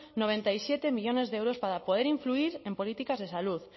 noventa y siete millónes de euros para poder influir en políticas de salud